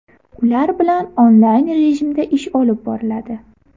Ular bilan onlayn rejimda ish olib boriladi.